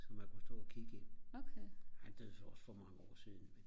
så man kunne stå og kigge ind han døde så også for mange år siden